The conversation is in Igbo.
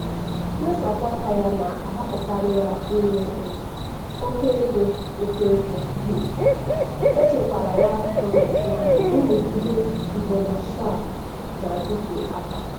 mmesapụ aka ya na-ahapụkarị ya inwe um oke ego oke ego um echekwara ya um na nrụgide iboancial na-adịte aka.